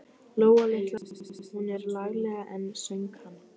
Lóa litla á Brú, hún er lagleg enn, söng hann.